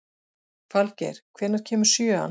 Falgeir, hvenær kemur sjöan?